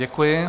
Děkuji.